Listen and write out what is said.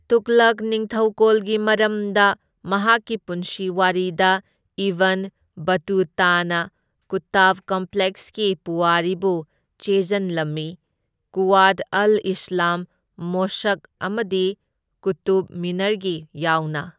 ꯇꯨꯘꯂꯛ ꯅꯤꯡꯊꯧꯀꯣꯜꯒꯤ ꯃꯔꯝꯗ, ꯃꯍꯥꯛꯀꯤ ꯄꯨꯟꯁꯤ ꯋꯥꯔꯤꯗ, ꯏꯕꯟ ꯕꯇꯨꯇꯥꯅꯥ ꯀꯨꯇꯕ ꯀꯝꯄ꯭ꯂꯦꯛꯁꯀꯤ ꯄꯨꯋꯥꯔꯤꯕꯨ ꯆꯦꯖꯟꯂꯝꯃꯤ, ꯀꯨꯋꯥꯠ ꯑꯜ ꯏꯁꯂꯥꯝ ꯃꯣꯁꯛ ꯑꯃꯗꯤ ꯀꯨꯇꯨꯕ ꯃꯤꯅꯥꯔꯒꯤ ꯌꯥꯎꯅ꯫